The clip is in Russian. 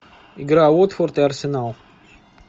игра уотфорд и арсенал